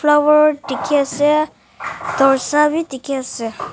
flower dekhi asa dorja vi dekhi asa.